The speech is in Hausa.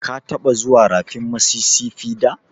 Ka taɓa zuwan rafin Mississipi da?